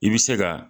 I bɛ se ka